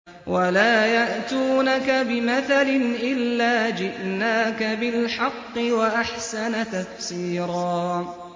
وَلَا يَأْتُونَكَ بِمَثَلٍ إِلَّا جِئْنَاكَ بِالْحَقِّ وَأَحْسَنَ تَفْسِيرًا